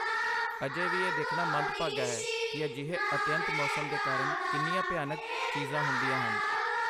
ਅਜੇ ਵੀ ਇਹ ਦੇਖਣਾ ਮੰਦਭਾਗਾ ਹੈ ਕਿ ਅਜਿਹੇ ਅਤਿਅੰਤ ਮੌਸਮ ਦੇ ਕਾਰਨ ਕਿੰਨੀਆਂ ਭਿਆਨਕ ਚੀਜ਼ਾਂਹੁੰਦੀਆਂ ਹਨ